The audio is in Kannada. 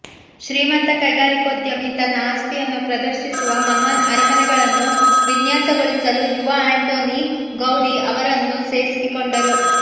ಶ್ರೀಮಂತ ಕೈಗಾರಿಕೋದ್ಯಮಿ ತನ್ನ ಆಸ್ತಿಯನ್ನು ಪ್ರದರ್ಶಿಸುವ ಮಹಾನ್ ಅರಮನೆಗಳನ್ನು ವಿನ್ಯಾಸಗೊಳಿಸಲು ಯುವ ಆಂಟೊನಿ ಗೌಡಿ ಅವರನ್ನು ಸೇರಿಸಿಕೊಂಡರು